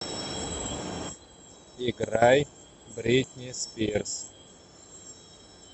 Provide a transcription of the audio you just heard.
играй бритни спирс